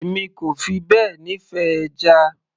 èmi kò fi bẹ́ẹ̀ nífẹ̀ẹ́ ẹja